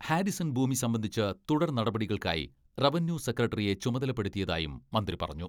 Harrison ഭൂമി സംബന്ധിച്ച് തുടർ നടപടികൾക്കായി റവന്യൂ സെക്രട്ടറിയെ ചുമതലപ്പെടുത്തിയതായും മന്ത്രി പറഞ്ഞു.